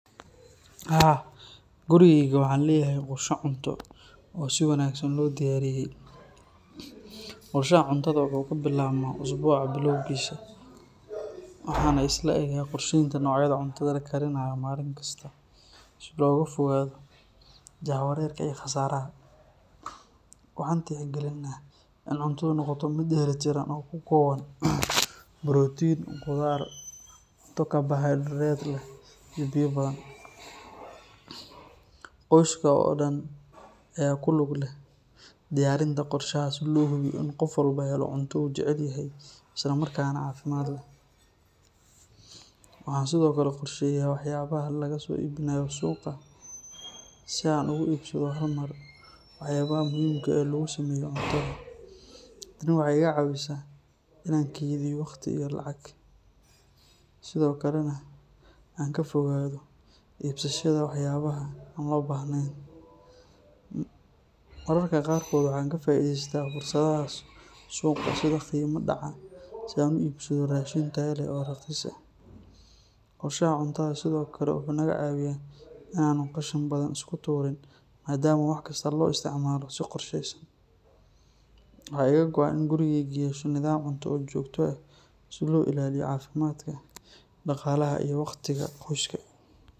Haa, gurigayga waxaan leeyahay qorshe cunto oo si wanaagsan loo diyaariyay. Qorshaha cuntada wuxuu ka bilaabmaa usbuuca bilowgiisa, waxaana isla egga qorsheynaa noocyada cuntada la karinayo maalin kasta si looga fogaado jahwareerka iyo khasaaraha. Waxaan tixgelinaa in cuntadu noqoto mid dheeli tiran oo ka kooban borotiin, khudaar, cunto karbohaydarayt leh iyo biyo badan. Qoyska oo dhan ayaa ku lug leh diyaarinta qorshaha si loo hubiyo in qof walba helo cunto uu jecel yahay isla markaana caafimaad leh. Waxaan sidoo kale qorsheeyaa waxyaabaha laga soo iibinayo suuqa si aan ugu iibsado hal mar waxyaabaha muhiimka ah ee lagu sameeyo cuntada. Tani waxay iga caawisaa inaan kaydiyo waqti iyo lacag, sidoo kalena aan ka fogaado iibsashada waxyaabaha aan loo baahnayn. Mararka qaarkood waxaan ka faa'iideystaa fursadaha suuqa sida qiimo dhaca si aan u iibsado raashin tayo leh oo raqiis ah. Qorshaha cuntada sidoo kale wuxuu naga caawiyaa in aanu qashin badan iska tuurin maadaama wax kasta loo isticmaalo si qorshaysan. Waxaa iga go’an in gurigaygu yeesho nidaam cunto oo joogto ah si loo ilaaliyo caafimaadka, dhaqaalaha iyo waqtiga qoyska.